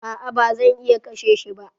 A'a ba zan iya kashe shi ba.